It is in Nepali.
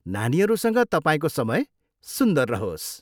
नानीहरूसँग तपाईँको समय सुन्दर रहोस्।